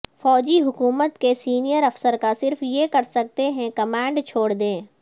فوجی حکومت کے سینئر افسر کا صرف یہ کر سکتے ہیں کمانڈ چھوڑ دیں